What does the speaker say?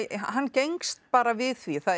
hann gengst bara við því að það